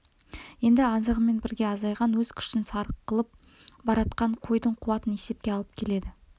енді азығымен бірге азайған өз күшін сарқылып баратқан қойдың қуатын есепке алып келеді